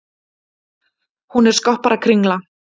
Hún er skopparakringla.